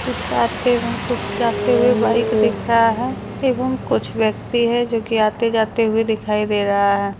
कुछ आते हुए कुछ जाते हुए बाइक दिख रहा है। एवं कुछ ब्यक्ति है जो कि आते जाते हुए दिखाइ दे रहा है।